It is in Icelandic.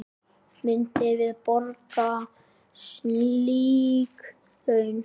Myndum við borga slík laun?